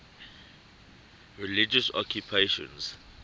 religious occupations